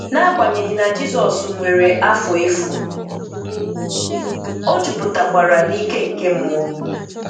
n'agbanyeghi na Jizọs nwere afo efu, O jupụtakwara na ike nke Mmụọ.